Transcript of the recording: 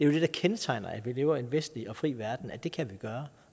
der kendetegner at vi lever i en vestlig og fri verden at vi kan gøre